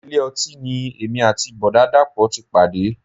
Ilé ọtí ni èmi àti Bọ̀dá dàpọ̀ ti pàdé.